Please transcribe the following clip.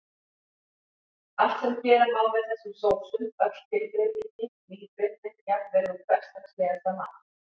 Allt sem gera má með þessum sósum, öll tilbreytingin, nýbreytnin, jafnvel úr hversdagslegasta mat.